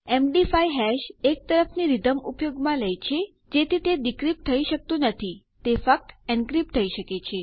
MD five hash એક તરફની રીધમ ઉપયોગમાં લે છે જેથી તે ડીક્રીપ્ટ થઇ શકતું નથી તે ફક્ત એનક્રીપ્ટ થઇ શકે છે